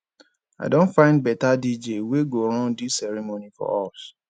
i don find beta dj wey go run dis ceremony for us